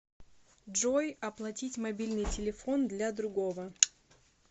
джой оплатить мобильный телефон для другого